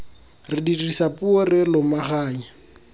re dirisa puo re lomaganya